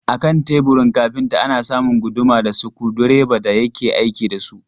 A kan teburin kafinta ana samun guduma da sikurudireba da yake aiki da su.